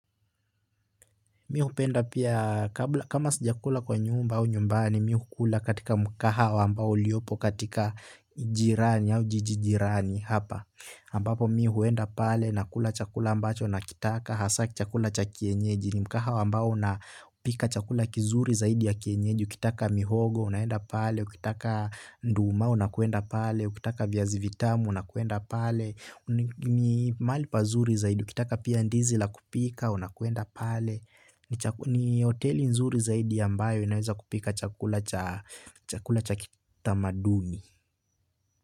Mi hupenda pia kama sijakula kwa nyumba au nyumbani, mi hukula katika mkahawa ambao uliopo katika jirani au jiji jirani hapa. Ambapo mi huenda pale nakula chakula ambacho nakitaka hasaa chakula cha kienyeji. Ni mkahawa ambao unapika chakula kizuri zaidi ya kienyeji. Ukitaka mihogo unaenda pale, ukitaka nduma unakuenda pale, ukitaka viazi vitamu unakwenda pale. Mahali pazuri zaidi, ukitaka pia ndizi la kupika unakuenda pale. Ni hoteli nzuri zaidi ambayo inaweza kupika chakula cha kitamaduni.